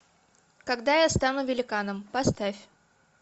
когда я стану великаном поставь